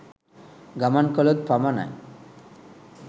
ගමන් කළොත් පමණයි.